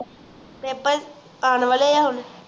paper ਆਣ ਵਾਲੇ ਹੈ ਹੁਣ?